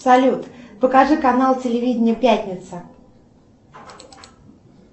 салют покажи канал телевидения пятница